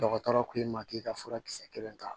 Dɔgɔtɔrɔ ko i ma k'i ka furakisɛ kelen ta